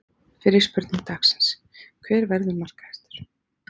Fyrri spurning dagsins: Hver verður markahæstur?